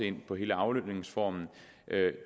ind på hele aflønningsformen